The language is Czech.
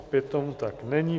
Opět tomu tak není.